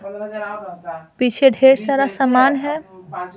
पीछे ढेर सारा सामान है ।